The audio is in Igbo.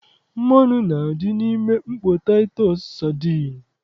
Mmanụ na-adị n'ime mkpọ taịtọs sadin